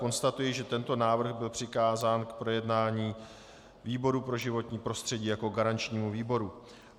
Konstatuji, že tento návrh byl přikázán k projednání výboru pro životní prostředí jako garančnímu výboru.